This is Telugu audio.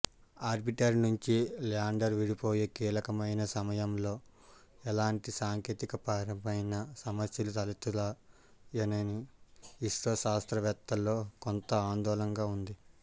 ఆర్బిటర్ నుంచి ల్యాండర్ విడిపోయే కీలకమైన సమయంలో ఎలాంటి సాంకేతికపరమైన సమస్యలు తలెత్తుతాయోనని ఇస్రో శాస్త్రవేత్తల్లో కొంత ఆందోళనగా ఉంది